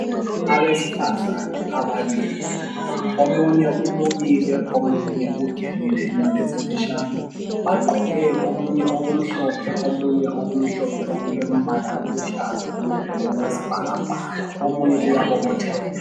Abesifazana ababili omunye welukile omunye ulenwele ezimfitshane. Bagqoke omunye okumhlophe omunye okulombala omhlophe loluhlaza okwesibhakabhaka njalo omunye uyabobotheka.